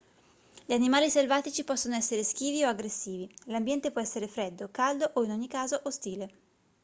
gli animali selvatici possono essere schivi o aggressivi l'ambiente può essere freddo caldo o in ogni caso ostile